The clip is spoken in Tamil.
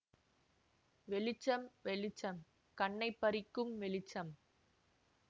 வெளிச்சம் வெளிச்சம் கண்ணைப் பறிக்கும் வெளிச்சம்